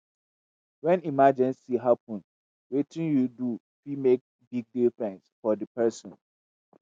when emergency happen wetin yu do fit mek big difference for di pesin.